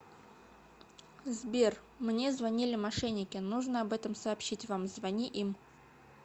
сбер мне звонили мошенники нужно об этом сообщить вам звони им